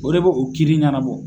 O de bɛ o kiri ɲɛnabɔ.